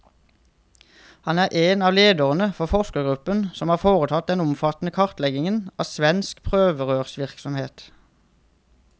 Han er en av lederne for forskergruppen som har foretatt den omfattende kartleggingen av svensk prøverørsvirksomhet.